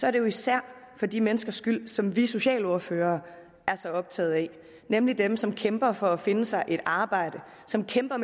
er det jo især for de menneskers skyld som vi socialordførere er så optaget af nemlig dem som kæmper for at finde sig et arbejde som kæmper